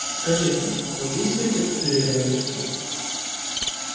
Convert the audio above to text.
скажите вы действуете как доверенное лицо